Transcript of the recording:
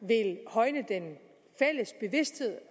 vil højne den fælles bevidsthed